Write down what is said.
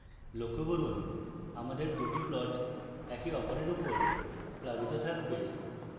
লক্ষ্য করুন আমাদের দুটি plots একের অপরের উপর প্লাবিত থাকবে